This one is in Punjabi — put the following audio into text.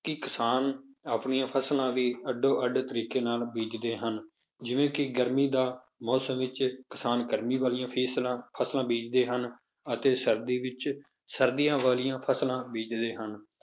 ਕਿ ਕਿਸਾਨ ਆਪਣੀਆਂ ਫਸਲਾਂ ਵੀ ਅੱਡੋ ਅੱਡ ਤਰੀਕੇ ਨਾਲ ਬੀਜ਼ਦੇ ਹਨ, ਜਿਵੇਂ ਕਿ ਗਰਮੀ ਦਾ ਮੌਸਮ ਵਿੱਚ ਕਿਸਾਨ ਗਰਮੀ ਵਾਲੀਆਂ ਫਿਸਲਾਂ ਫਸਲਾਂ ਬੀਜ਼ਦੇ ਹਨ ਅਤੇ ਸਰਦੀ ਵਿੱਚ ਸਰਦੀਆਂ ਵਾਲੀਆਂ ਫਸਲਾਂ ਬੀਜ਼ਦੇ ਹਨ।